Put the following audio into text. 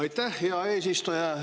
Aitäh, hea eesistuja!